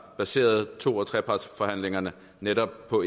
baseret to og trepartsforhandlingerne netop på